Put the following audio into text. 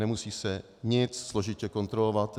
Nemusí se nic složitě kontrolovat.